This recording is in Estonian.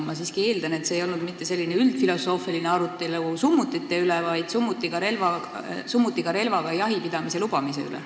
Ma siiski eeldan, et see ei olnud mitte selline üldfilosoofiline arutelu summutite üle, vaid summutiga relvaga jahipidamise lubamise üle.